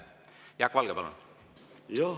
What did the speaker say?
Jaak Valge, palun!